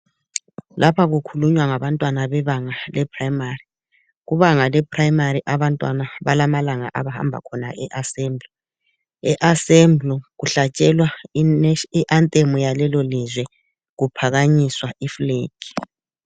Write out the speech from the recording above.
Lapha kukhulunywa ngabantwana bebanga leprimary kubanga leprimary abantwana balamalanga abahamba khona eassembly, eassembly kuhlatshelwa ianthem yalelo lizwe kuphakanyiswa iflag.